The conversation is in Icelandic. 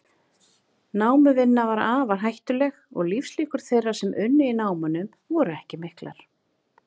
Námuvinna var afar hættuleg og lífslíkur þeirra sem unnu í námunum voru ekki miklar.